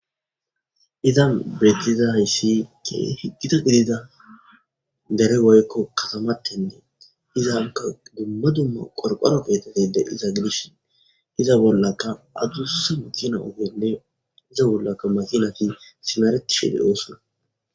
Izan bethizaysi keehi githa gidida dere woyikko kathamatene. Izape dumma dumma qorqoro keeththati diza gidishin iza bolaka adusi makina ogene iza bolaka makinati simeretishe deosona.